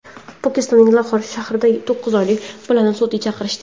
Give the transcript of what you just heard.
Pokistonning Laxor shahrida to‘qqiz oylik bolani sudga chaqirishdi.